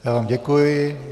Já vám děkuji.